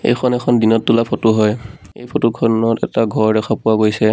এইখন এখন দিনত তোলা ফটো হয় এই ফটো খনত এটা ঘৰ দেখা পোৱা গৈছে।